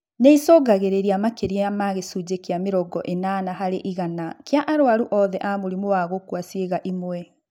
Nĩicũngagiriria makĩria ma gĩcunjĩ kĩa mĩrongo ĩnana harĩ igana kĩa arwaru othe a mũrimũ wa gũkua ciĩga imwe